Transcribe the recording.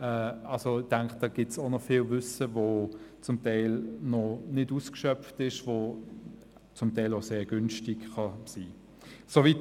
Also: Ich denke, da gibt es auch noch viel Wissen, das zum Teil noch nicht ausgeschöpft ist, und das zum Teil auch sehr günstig sein kann.